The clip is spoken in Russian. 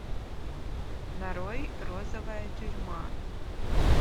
нарой розовая тюрьма